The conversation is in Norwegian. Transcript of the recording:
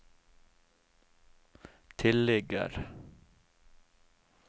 tilligger